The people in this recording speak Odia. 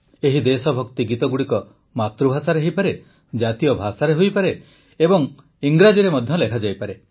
ଏହି ଦେଶଭକ୍ତି ଗୀତଗୁଡ଼ିକ ମାତୃଭାଷାରେ ହୋଇପାରେ ଜାତୀୟ ଭାଷାରେ ହୋଇପାରେ ଏବଂ ଇଂରାଜୀରେ ମଧ୍ୟ ଲେଖାଯାଇପାରେ